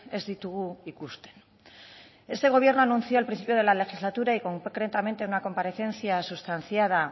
ez ditugu ikusten este gobierno anuncia al principio de la legislatura y concretamente una comparecencia sustanciada